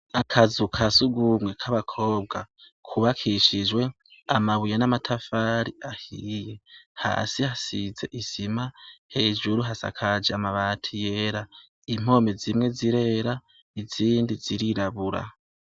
Akazu kasugumwe k'abakobwa kubakishijwe amabuye n'amatafari ahiye, hasi hasize isima, hejuru hasakaje amabati y'era, impome zimwe zirera izindi zirirabura.